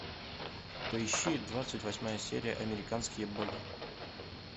поищи двадцать восьмая серия американские боги